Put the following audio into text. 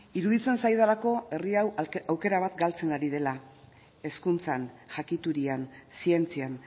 iruditzen zaidalako herri hau aukera bat galtzen ari dira hezkuntzan jakiturian zientzian